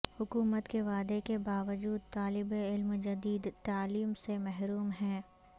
حکومت کےوعدے کے باوجود طالب علم جدید تعلیم سے محروم ہیں